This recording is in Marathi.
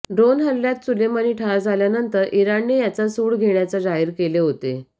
ड्रोन हल्ल्यात सुलेमानी ठार झाल्यानंतर इराणने याचा सूड घेण्याचा जाहीर केले होते